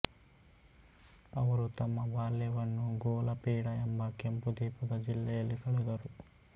ಅವರು ತಮ್ಮ ಬಾಲ್ಯವನ್ನು ಗೋಲಪೀಡಾ ಎಂಬ ಕೆಂಪು ದೀಪದ ಜಿಲ್ಲೆಯಲ್ಲಿ ಕಳೆದರು